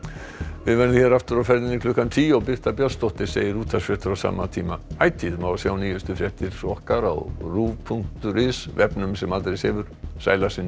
við verðum hér aftur á ferðinni klukkan tíu og Birta Björnsdóttir segir útvarpsfréttir á sama tíma ætíð má sjá nýjustu fréttir okkar á ruv punktur is vefnum sem aldrei sefur sæl að sinni